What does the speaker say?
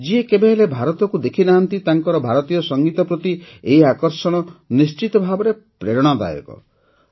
ଯିଏ କେବେହେଲେ ଭାରତକୁ ଦେଖିନାହାନ୍ତି ତାଙ୍କର ଭାରତୀୟ ସଙ୍ଗୀତ ପ୍ରତି ଏହି ଆକର୍ଷଣ ନିଶ୍ଚିତଭାବେ ପ୍ରେରଣାଦାୟକ